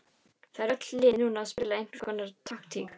Það eru öll lið núna að spila einhverskonar taktík.